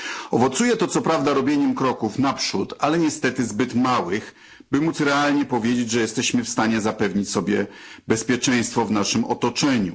Owocuje to co prawda robieniem kroków naprzód, ale niestety zbyt małych, by móc realnie powiedzieć, że jesteśmy w stanie zapewnić sobie bezpieczeństwo w naszym otoczeniu.